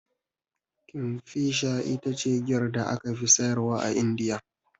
Kingfisher ita ce giyar da aka fi siyarwa a Indiya.